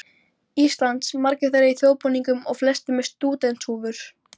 Íslands, margir þeirra í þjóðbúningum og flestir með stúdentshúfur.